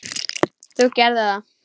Þú gerðir það.